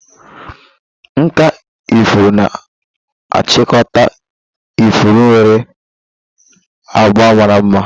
Nkà ifuru na-achịkọta ifuru nwere abga mara mma.